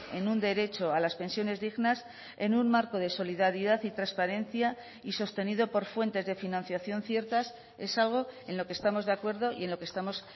en un derecho a las pensiones dignas en un marco de solidaridad y transparencia y sostenido por fuentes de financiación ciertas es algo en lo que estamos de acuerdo y en lo que estamos